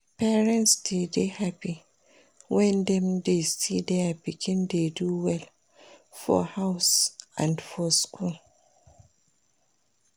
Parents de dey happy when dem de see their pikin dey do well for house and for school